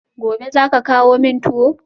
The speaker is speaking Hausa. Gobe ​​zaka kawo min tuwo?